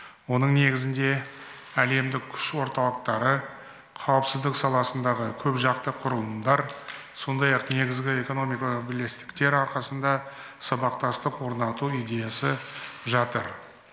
оның негізінде әлемдік күш орталықтары қауіпсіздік саласындағы көпжақты құрылымдар сондай ақ негізгі экономикалық бірлестіктер арқасында сабақтастық орнату идеясы жатыр